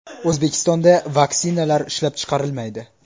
O‘zbekistonda vaksinalar ishlab chiqarilmaydi.